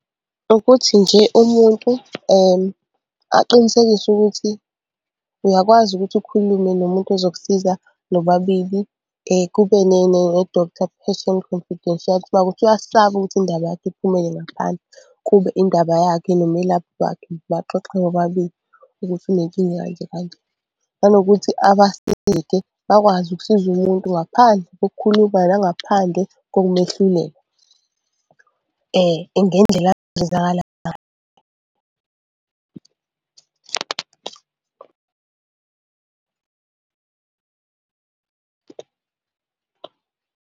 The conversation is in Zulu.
Ukuthi nje umuntu aqinisekise ukuthi uyakwazi ukuthi ukhulume nomuntu ozokusiza nobabili kube doctor patient confidentiality uma kuwukuthi uyasaba ukuthi indaba yakhe iphumele ngaphandle. Kube indaba yakhe nomelaphi wakhe baxoxe bobabili ukuthi unenkinga kanje kanje, nanokuthi bakwazi ukusiza umuntu ngaphandle kokukhuluma nangaphandle kokumehlulela .